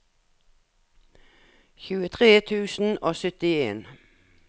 tjuetre tusen og syttien